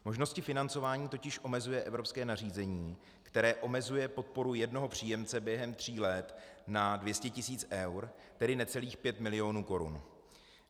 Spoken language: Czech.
Možnosti financování totiž omezuje evropské nařízení, které omezuje podporu jednoho příjemce během tří let na 200 tis. eur, tedy necelých pět milionů korun.